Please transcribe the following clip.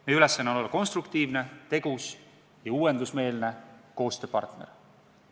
Meie ülesanne on olla konstruktiivne, tegus ja uuendusmeelne koostööpartner.